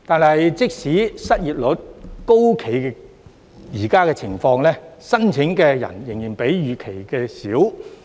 可是，即使失業率高企，現時的申請人數仍少於預期。